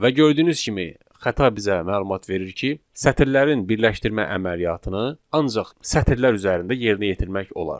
Və gördüyünüz kimi xəta bizə məlumat verir ki, sətirlərin birləşdirmə əməliyyatını ancaq sətirlər üzərində yerinə yetirmək olar.